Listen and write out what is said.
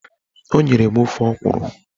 O nyere m ofe ọkwụrụ